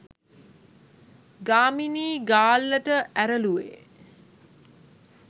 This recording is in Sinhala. ගාමිණී ගාල්ලට ඇරළුවේ